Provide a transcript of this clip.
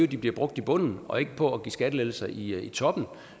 de bliver brugt i bunden og ikke på at give skattelettelser i i toppen